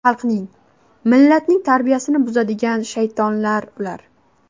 Xalqning, millatning tarbiyasini buzadigan shaytonlar ular.